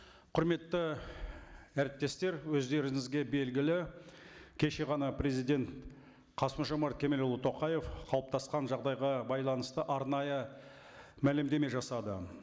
құрметті әріптестер өздеріңізге белгілі кеше ғана президент қасым жомарт кемелұлы тоқаев қалыптасқан жағдайға байланысты арнайы мәлімдеме жасады